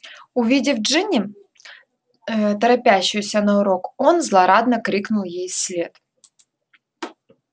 увидев джинни ээ торопящуюся на урок он злорадно крикнул ей вслед